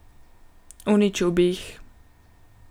Uničil bi jih.